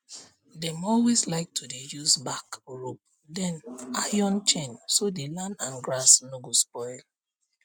dem always like to dey use bark rope than iron chain so the land and grass no go spoil